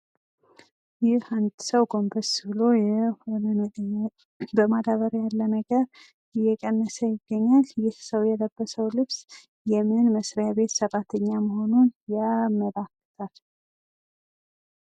ይህ አንድ ሰው ጎንበስ ብሎ የሆነ ነገር በማዳበርያ ያለ ነገር እየቀነሰ ይገኛል ይህ ሰው የለበሰው ልብስ የምን መስሪያ ቤት ሰራተኛ መሆኑን ያመላክታል?